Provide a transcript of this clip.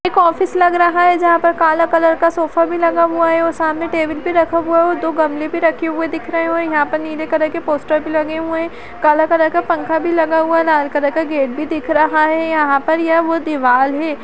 एक ऑफिस लग रहा है जहाँ पर काला कलर का सोफा भी लगा हुआ है और सामने टेबल भी रखा हुआ है और दो गमले भी रहे हुए दिख रहे हैं और यहाँ पर नीले कलर के पोस्टर भी लगे हुए हैं काला कलर का पंखा भी लगा हुआ है लाल कलर का गेट भी दिख रहा है यहाँ पर यह वो दीवाल है --